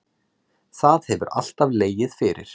Það hefur alltaf legið fyrir